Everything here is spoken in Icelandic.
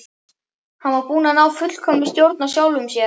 Hann var búinn að ná fullkominni stjórn á sjálfum sér.